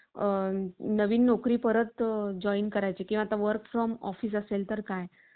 GPT प्रणाली वरील संच अं ~संचय माहिती प्रसारण दोन्ही मानवी सहभागातूनच साकारत आहे. म्हणून chat GPT याने